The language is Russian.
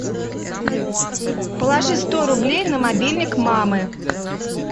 положи сто рублей на мобильник мамы